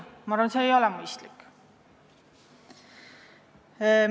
Ma arvan, see korraldus ei ole mõistlik.